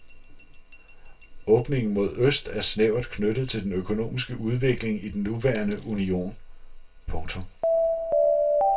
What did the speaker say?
Åbningen mod øst er snævert knyttet til den økonomiske udvikling i den nuværende union. punktum